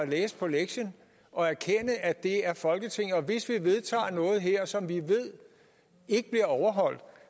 læse på lektien og erkende at det er folketinget og at hvis vi vedtager noget her som vi ved ikke bliver overholdt